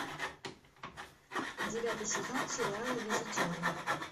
девятый сезон сериала визетеры